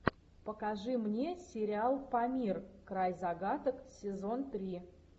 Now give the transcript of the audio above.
покажи мне сериал памир край загадок сезон три